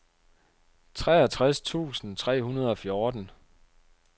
treogtres tusind tre hundrede og fjorten